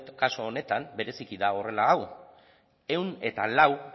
kasu honetan bereziki da horrela hau ehun eta lau